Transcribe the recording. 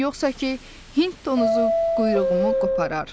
Yoxsa ki, Hind donuzu quyruğumu qoparar.